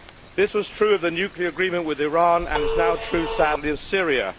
This was true of the nuclear agreement with Iran and is now true, sadly, of Syria.